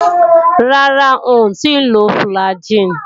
Rárá, ń ò tíì lo fùlàgi